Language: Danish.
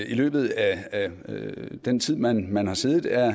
i løbet af den tid man man har siddet er